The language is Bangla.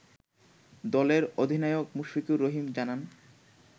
দলের অধিনায়ক মুশফিকুর রহিম জানান